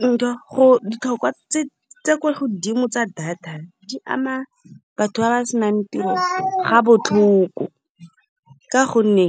Ditlhokwa tse di kwa godimo tsa data di ama batho ba ba senang tiro ga botlhoko. Ka gonne